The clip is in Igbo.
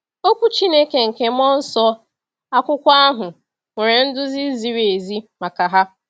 Okwu Chineke nke mmụọ nsọ, akwụkwọ ahụ, nwere nduzi ziri ezi maka ha.